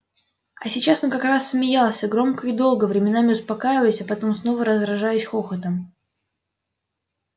а сейчас он как раз смеялся громко и долго временами успокаиваясь а потом снова разражаясь хохотом